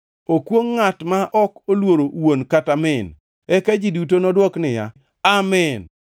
“Okwongʼ ngʼat ma ok oluoro wuon kata min.” Eka ji duto nodwok niya, “Amin!”